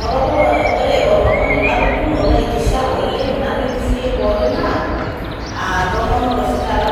Orolo ,ore olomoni latoningo laitisha oleng nanu enkishui ai naa ntomonok